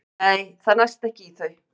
Nei, það næst ekki í þau.